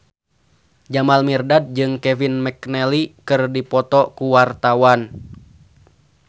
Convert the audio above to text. Jamal Mirdad jeung Kevin McNally keur dipoto ku wartawan